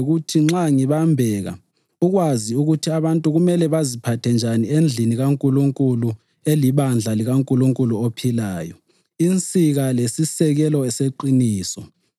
nxa ngibambeka, ukwazi ukuthi abantu kumele baziphathe njani endlini kaNkulunkulu elibandla likaNkulunkulu ophilayo, insika lesisekelo seqiniso.